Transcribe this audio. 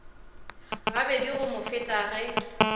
gabedi go mo feta ge